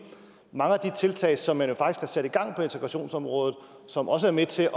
mange af de tiltag som man har sat i gang på integrationsområdet som også er med til